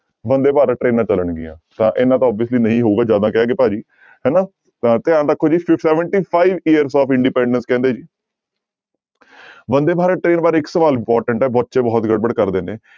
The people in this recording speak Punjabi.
ਬੰਦੇ ਭਾਰਤ ਟਰੇਨਾਂ ਚੱਲਣਗੀਆਂ ਤਾਂ ਇੰਨਾ ਤਾਂ obviously ਨਹੀਂ ਹੋਊਗਾ ਜ਼ਿਆਦਾ ਕਹਿ ਗਏ ਭਾਜੀ ਹਨਾ, ਤਾਂਂ ਧਿਆਨ ਰੱਖੋ ਜੀ seventy five years of independence ਕਹਿੰਦੇ ਬੰਦੇ ਭਾਰਤ train ਬਾਰੇ ਇੱਕ ਸਵਾਲ important ਹੈ ਬੱਚੇ ਬਹੁਤ ਗੜਬੜ ਕਰਦੇ ਨੇ।